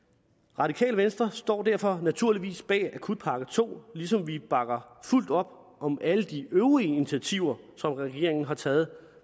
radikale venstre står derfor naturligvis bag akutpakke to ligesom vi bakker fuldt op om alle de øvrige initiativer som regeringen har taget